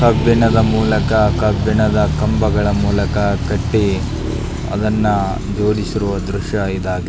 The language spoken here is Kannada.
ಕಬ್ಬಿಣದ ಮೂಲಕ ಕಬ್ಬಿಣದ ಕಂಬಗಳ ಮೂಲಕ ಕಟ್ಟಿ ಅದನ್ನ ಜೋಡಿಸಿರುವ ದೃಶ್ಯ ಇದಾಗಿದೆ.